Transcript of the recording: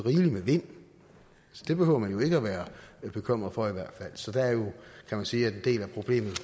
med vind det behøver man jo ikke at være bekymret for så der kan man sige at en del af problemet